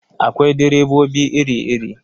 Akwai direbobi iri-iri.